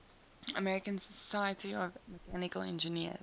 american society of mechanical engineers